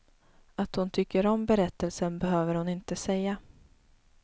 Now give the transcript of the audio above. Att hon tycker om berättelsen behöver hon inte säga.